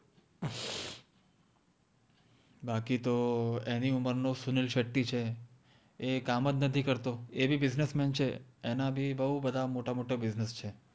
બાકિ તો એનિ ઉમર નો સુનિલ શેટ્ટી છે એ કામ જ નથિ કર્તો એ બિ બિસ્નેસ મેન છે એના બિ બૌ બધા મોતા મોટા મોટા બિસ્નેસ ચે